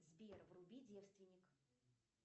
сбер вруби девственник